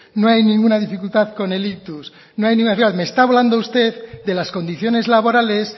no hay ninguna dificultad con el ictus no hay ninguna dificultad con me está hablando usted de las condiciones laborales